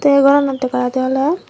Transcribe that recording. te aye goranot dega jai de oley.